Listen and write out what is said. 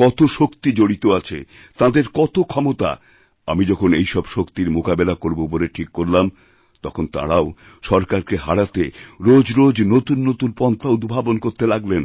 কত শক্তি জড়িত আছে তাঁদের কত ক্ষমতা আমি যখন এইসবশক্তির মোকাবিলা করব বলে ঠিক করলাম তখন তাঁরাও সরকারকে হারাতে রোজ রোজ নতুন নতুনপন্থা উদ্ভাবন করতে লাগলেন